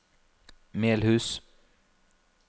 Melhus